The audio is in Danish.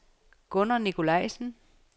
Gunnar Nikolajsen